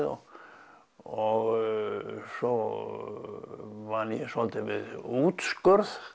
og og svo vann ég svolítið við útskurð